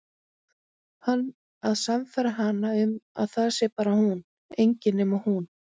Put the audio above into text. Hann að sannfæra hana um að það sé bara hún, engin nema hún.